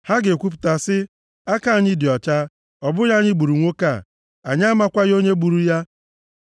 Ha ga-ekwupụta sị, “Aka anyị dị ọcha, ọ bụghị anyị gburu nwoke a, anyị amakwaghị onye gburu ya.